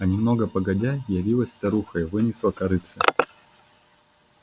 а немного погодя явилась старуха и вынесла корытце